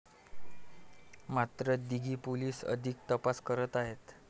मात्र दिघी पोलिस अधिक तपास करत आहेत.